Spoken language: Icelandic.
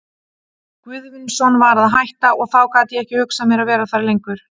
Guðvinsson var að hætta, og þá gat ég ekki hugsað mér að vera þar lengur.